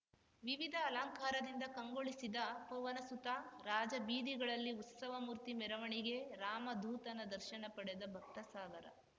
ವಿವಿಧ ಅಲಂಕಾರದಿಂದ ಕಂಗೊಳಿಸಿದ ಪವನಸುತ ರಾಜಬೀದಿಗಳಲ್ಲಿ ಉತ್ಸವಮೂರ್ತಿ ಮೆರವಣಿಗೆ ರಾಮಧೂತನ ದರ್ಶನ ಪಡೆದ ಭಕ್ತಸಾಗರ